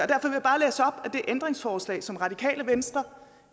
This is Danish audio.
ændringsforslag som radikale venstre